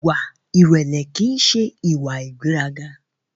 Ìwà ìrẹlẹ ki n ṣe ìwà ìgbéraga.